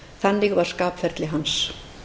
þannig var skapferli hans